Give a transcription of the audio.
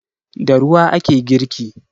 Da ruwa ake girki.